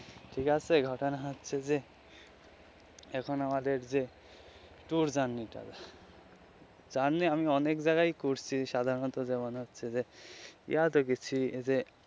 ঠিক আছে ঘটনা হচ্ছে যে এখন আমাদের যে tour journey টা জানি আমি অনেক জায়গায় করছি সাধারণত হচ্ছে যে ইয়াতে গেছি যে.